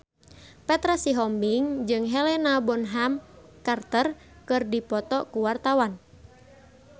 Petra Sihombing jeung Helena Bonham Carter keur dipoto ku wartawan